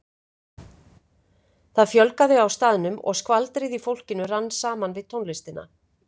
Það fjölgaði á staðnum og skvaldrið í fólkinu rann saman við tónlistina.